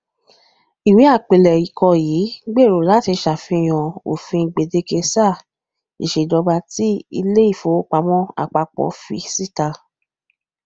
iwe apilẹkọ yii gbero lati ṣalaye ofin gbedeke saa iṣejọba ti ile ifowopamọ apapọ fi sita